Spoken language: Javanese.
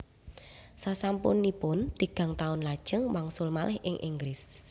Sasampunipun tigang taun lajeng wangsul malih ing Inggris